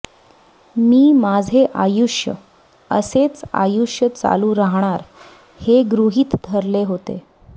मी माझे अायुष्य असेच आयुष्य चालू रहाणार हे गृहीत धरले होते